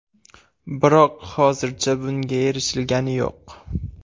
Biroq hozircha bunga erishilgani yo‘q.